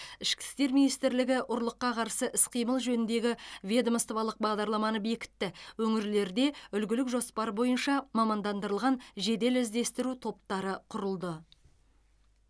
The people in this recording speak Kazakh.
ішкі істер министрлігі ұрлыққа қарсы іс қимыл жөніндегі ведомстволық бағдарламаны бекітті өңірлерде үлгілік жоспар бойынша мамандандырылған жедел іздестіру топтары құрылды